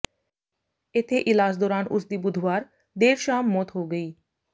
ਇਥੇ ਇਲਾਜ ਦੌਰਾਨ ਉਸ ਦੀ ਬੁੱਧਵਾਰ ਦੇਰ ਸ਼ਾਮ ਮੌਤ ਹੋ ਗਈ